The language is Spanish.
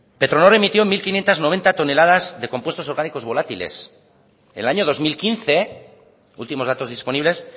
petronor emitió mil quinientos noventa toneladas de compuestos orgánicos volátiles en el año dos mil quince últimos datos disponibles